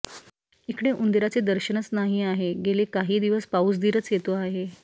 ईकडे उनदिराचे दर्शनच नाही आहे गेली काही दिवस पाऊसदिरच येतो आहे